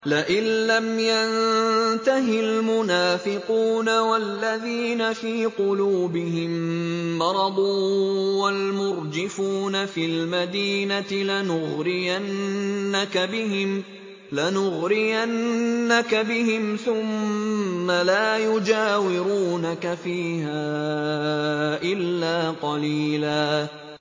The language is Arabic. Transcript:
۞ لَّئِن لَّمْ يَنتَهِ الْمُنَافِقُونَ وَالَّذِينَ فِي قُلُوبِهِم مَّرَضٌ وَالْمُرْجِفُونَ فِي الْمَدِينَةِ لَنُغْرِيَنَّكَ بِهِمْ ثُمَّ لَا يُجَاوِرُونَكَ فِيهَا إِلَّا قَلِيلًا